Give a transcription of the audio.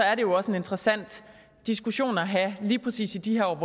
er det jo også en interessant diskussion at have lige præcis i de her år